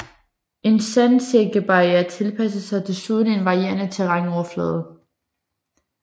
En sandsækkebarriere tilpasser sig desuden en varierende terrænoverflade